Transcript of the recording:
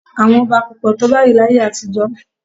Àwọn ọba kò pọ̀ tó báyìí láyé àtijọ́